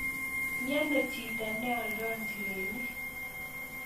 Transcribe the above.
Miono chito neoldo njirenik